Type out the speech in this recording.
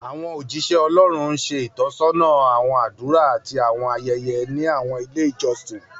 Àwọn ójíṣẹ́ Ọlọ́run ń ṣe ìtọ́sọ́nà àwọn àdúrà àti àwọn ayẹyẹ ní àwọn ilé ìjọsìn